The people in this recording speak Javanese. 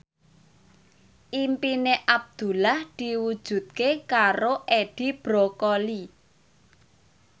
impine Abdullah diwujudke karo Edi Brokoli